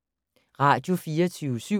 Radio24syv